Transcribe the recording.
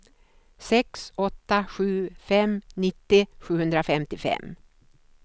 sex åtta sju fem nittio sjuhundrafemtiofem